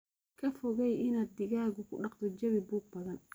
Ka fogey inaad digaaga ku dhaqdo jawi buuq badan.